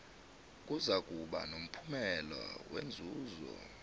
kuzakuba nomphumela wenzuzo